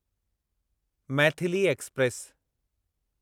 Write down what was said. Maithili express